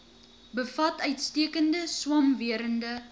bevat uitstekende swamwerende